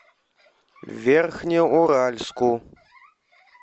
верхнеуральску